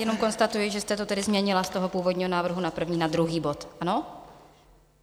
Jenom konstatuji, že jste to tedy změnila z toho původního návrhu na první na druhý bod, ano?